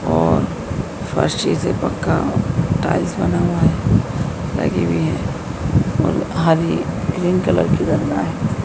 और फर्श जैसे पक्का टाइल्स बना हुआ है लगी हुई है और हरी ग्रीन कलर की है।